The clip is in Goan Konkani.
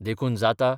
देखून जाता